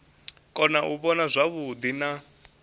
kona u vhona zwavhuḓi na